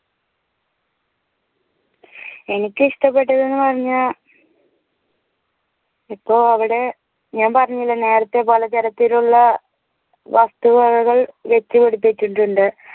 എനിക്കിഷ്ടപ്പെട്ടതെന്ന് പറഞ്ഞ ഇപ്പൊ അവിടെ ഞാൻ പറഞ്ഞില്ലേ നേരെത്തെ പോലെ ജലത്തിലുള്ള വസ്തുവകകൾ വെച്ചുപിടിപ്പിച്ചിട്ടുണ്ട്